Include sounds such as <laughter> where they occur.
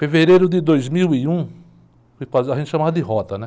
Fevereiro de dois mil e um, <unintelligible> a gente chamava de rota, né?